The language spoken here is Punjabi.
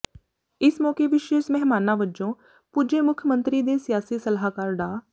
ਇਸ ਮੌਕੇ ਵਿਸ਼ੇਸ਼ ਮਹਿਮਾਨਾਂ ਵਜੋਂ ਪੁੱਜੇ ਮੁੱਖ ਮੰਤਰੀ ਦੇ ਸਿਆਸੀ ਸਲਾਹਕਾਰ ਡਾ